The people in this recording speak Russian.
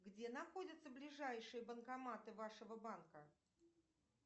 где находятся ближайшие банкоматы вашего банка